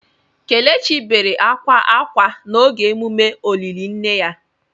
Kelechi bere akwa akwa n’oge emume olili nne ya.